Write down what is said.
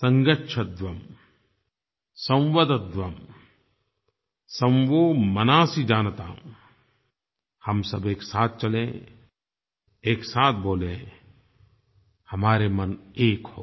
संगच्छध्वं संवदध्वं सं वो मनांसि जानताम हम सब एक साथ चलें एक साथ बोलें हमारे मन एक हों